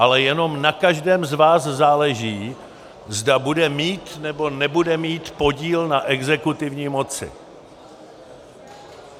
Ale jenom na každém z vás záleží, zda bude mít nebo nebude mít podíl na exekutivní moci.